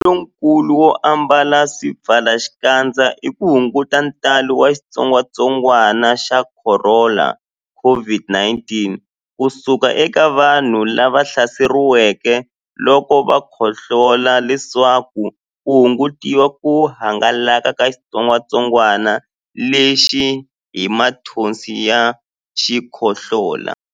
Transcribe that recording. Mbuyelonkulu wo ambala swipfalaxikandza i ku hunguta ntalo wa xitsongwantsongwana xa Khorona, COVID-19 ku suka eka vanhu lava hlaseriweke loko va khohlola leswaku ku hungutiwa ku hangalaka ka xitsongwantsongwana lexi hi mathonsi ya xikhohlola.